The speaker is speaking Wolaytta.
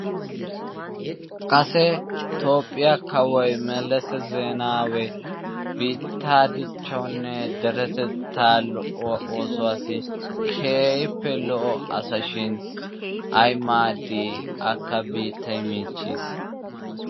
Kase lToophiyaa kawoy Melese Zeenawe biittaa dichchawunne deretetta lo''o oosuwassi keehippe lo"o asa shin ay maaddi akka biittay miichchiis.